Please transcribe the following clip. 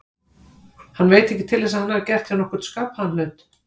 Hann veit ekki til þess að hann hafi gert þeim nokkurn skapaðan hlut.